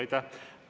Aitäh!